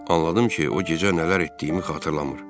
Anladım ki, o gecə nələr etdiyimi xatırlamır.